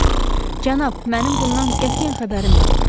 Cənab, mənim bundan qətiyyən xəbərim yoxdur.